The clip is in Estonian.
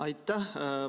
Aitäh!